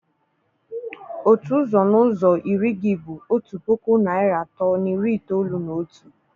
Otu ụzọ n'ụzọ iri gị bụ otu puku naịra atọ na iri itoolu na otu.